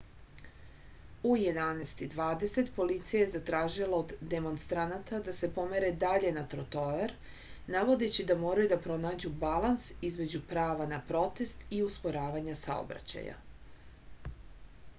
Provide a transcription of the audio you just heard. u 11:20 policija je zatražila od demonstranata da se pomere dalje na trotoar navodeći da moraju da pronađu balans između prava na protest i usporavanja saobraćaja